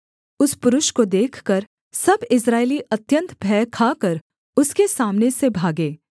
उस पुरुष को देखकर सब इस्राएली अत्यन्त भय खाकर उसके सामने से भागे